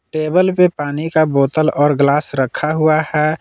Table पे पानी का बोतल और ग्लास रखा हुआ है।